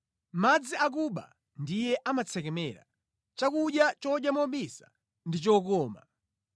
“Madzi akuba ndiye amatsekemera; chakudya chodya mobisa ndi chokoma!”